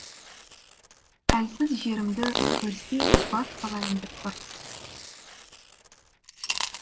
әлсіз жерімді көрсе бас салайын деп тұр